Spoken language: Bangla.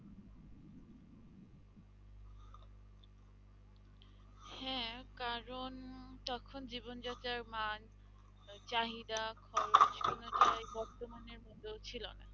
হ্যাঁ, কারন তখন জীবন যাত্রার মান আহ চাহিদা খরচ বর্তমানের মতো ছিলোনা